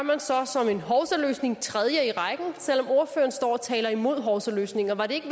man så som en hovsaløsning den tredje i rækken selv om ordføreren står og taler imod hovsaløsninger var det ikke